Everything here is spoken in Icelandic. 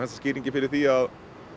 skýringin fyrir því að